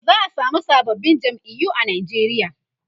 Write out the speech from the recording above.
za'a samu sababbin jam'iyu a Nigeria